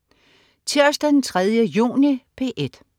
Tirsdag den 3. juni - P1: